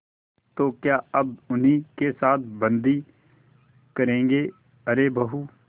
तो क्या अब उन्हीं के साथ बदी करेंगे अरे बहू